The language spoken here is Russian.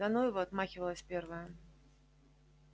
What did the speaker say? да ну его отмахивалась первая